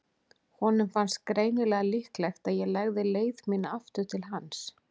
Honum fannst greinilega líklegt að ég legði leið mína aftur til hans.